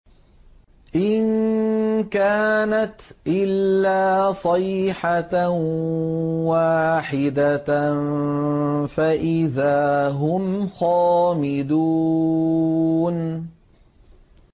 إِن كَانَتْ إِلَّا صَيْحَةً وَاحِدَةً فَإِذَا هُمْ خَامِدُونَ